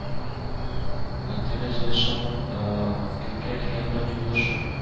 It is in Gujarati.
અત્યારે જે છું હું cricket game રમી રહ્યો છું.